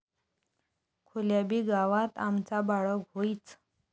खुल्याबी गावात आमचा बाळग होइच...